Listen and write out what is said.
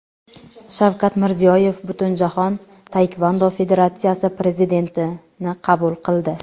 Shavkat Mirziyoyev Butunjahon taekvondo federatsiyasi prezidentini qabul qildi.